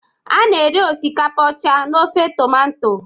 a na-eri osikapa ọcha na ofe tomato